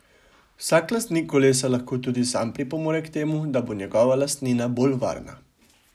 Vsak lastnik kolesa lahko tudi sam pripomore k temu, da bo njegova lastnina bolj varna.